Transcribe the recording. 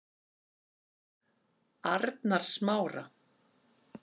Arnarsmára